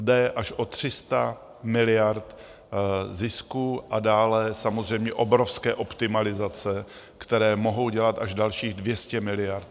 Jde až o 300 miliard zisků a dále samozřejmě obrovské optimalizace, které mohou dělat až dalších 200 miliard.